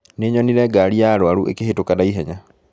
Nĩnyonire ngari ya arwaru ĩkĩhĩtũka na ihenya